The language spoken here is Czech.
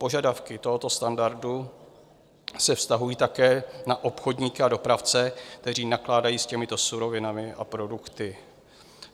Požadavky tohoto standardu se vztahují také na obchodníky a dopravce, kteří nakládají s těmito surovinami a produkty.